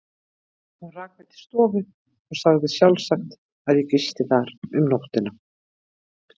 Hún rak mig til stofu og sagði sjálfsagt, að ég gisti þar um nóttina.